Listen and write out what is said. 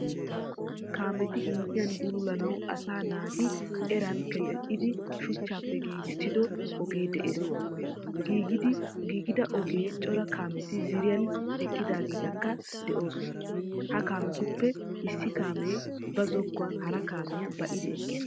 Kaameeti injjiyaan buluulanawu asaa naati eraan keeten"idi shuuchappe gigiisido oge de"ees. giigida ogiyaan cora kaameti ziriiya eqiidaageetikka de"osona. Ha kaametuppe issi kaamee ba zookuwan hara kaamiya baa"idi eqiis.